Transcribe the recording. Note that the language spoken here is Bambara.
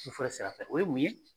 fɔrɛ sira fɛ o ye mun ye.